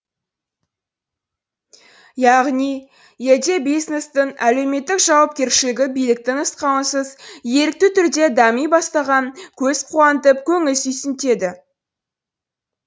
яғни елде бизнестің әлеуметтік жауапкершілігі биліктің нұсқауынсыз ерікті түрде дами бастағаны көз қуантып көңіл сүйсінтеді